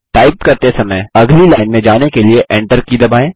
type करते समय अगली लाइन में जाने के लिए Enter की दबाएँ